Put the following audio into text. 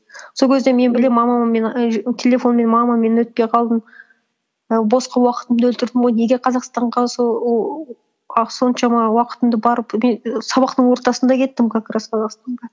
сол кезде мен білемін мамам мені телефонмен мама мен өтпей қалдым ііі босқа уақытымды өлтірдім ғой неге қазақстанға сол ол соншама уақытымды барып мен і сабақтың ортасында кеттім как раз қазақстанға